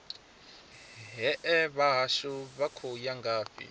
hee vhahashu vha khou ya ngafhi